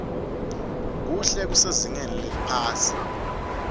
kuhle kusezingeni leliphasi